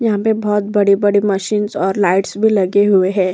यहाँ पे बहोत बड़ी-बड़ी मशीनस और लाइटस भी लगे हुए हैं।